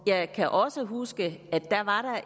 jeg kan også huske at der